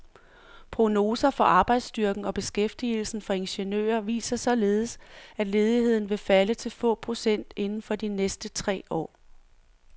Prognoser for arbejdsstyrken og beskæftigelsen for ingeniører viser således, at ledigheden vil falde til få procent inden for de næste tre år.